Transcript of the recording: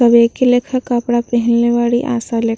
सब एके लेखा कपड़ा पहिनले बाड़ी आशा ले --